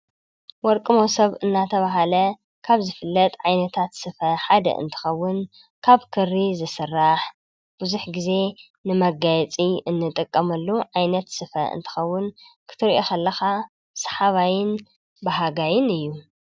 ወርቂ ሞሶብ እናተባሃለ ካብ ዝፍለጥ ዓይነታት ስፈ ሓደ እንትኸዉን ካብ ክሪ ዝስራሕ ብዙሕ ግዜ ንመጋየፂ እንጥቀመሉ ዓይነት ስፈ እንትኸዉን ክትርእዮ ከለኻ ሰሓባይን ባሃጋይን እዩ።